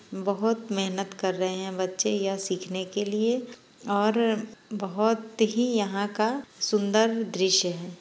बहुत महेनत कर रहे है बच्चे यह सीखने के लिए और बहुत ही यहां का सुंदर दृश्य है।